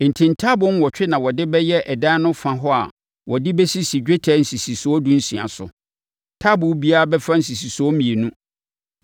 Enti, ntaaboo nwɔtwe na wɔde bɛyɛ ɛdan no fa hɔ a wɔde bɛsisi dwetɛ nsisisoɔ dunsia so. Taaboo biara bɛfa nsisisoɔ mmienu.